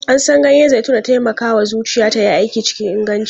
An san ganyen zaitun da taimakawa zuciya ta yi aiki cikin inganci.